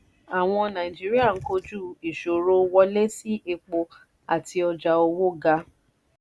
àwọn nàíjíríà ń kojú ìṣòro wọlé sí epo àti ọjà owó ga.